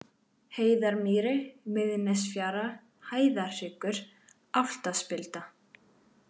Heiðarmýri, Miðnesfjara, Hæðarhryggur, Álftaspilda